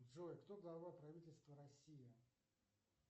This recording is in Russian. джой кто глава правительства россии